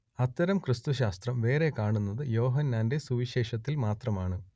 അത്തരം ക്രിസ്തുശാസ്ത്രം വേറെ കാണുന്നത് യോഹന്നാന്റെ സുവിശേഷത്തിൽ മാത്രമാണ്